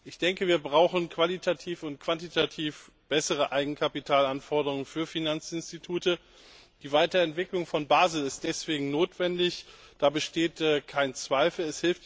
Ich denke, wir brauchen qualitativ und quantitativ bessere Eigenkapitalanforderungen für Finanzinstitute. Die Weiterentwicklung von Basel ist deswegen notwendig, da besteht kein Zweifel.